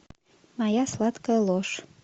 моя сладкая ложь